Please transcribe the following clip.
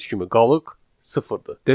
Gördüyünüz kimi qalıq sıfırdır.